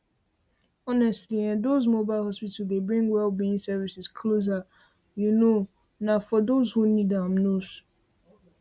honestly ehndoz mobile hospital dey bring wellbeing services closer you know na for those who need am most